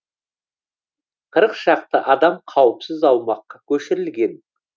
қырық шақты адам қауіпсіз аумаққа көшірілген